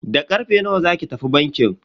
Da karfe nawa zaki tafi bankin?